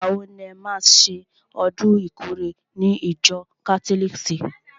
Ìgbà wo ni e má ṣe ọdún ìkórè ní ìjọ kátólìkì?